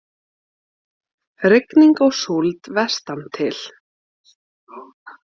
Rigning og súld vestantil